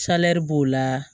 b'o la